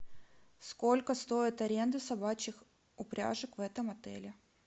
сколько стоит аренда собачьих упряжек в этом отеле